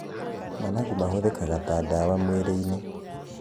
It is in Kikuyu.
manangu mahũthĩkaga ta ndawa mwĩrĩ-inĩ